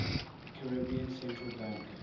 caribbean central bank